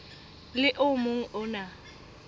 le o mong o na